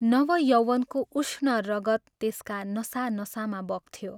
नव यौवनको उष्ण रगत त्यसका नसा नसामा बग्थ्यो।